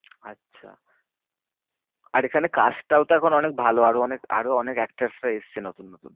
আচ্ছা আর এখানে cast টাও এখন অনেক ভালো। আরো অনেক আরো অনেক actress রা এসেছে নতুন নতুন।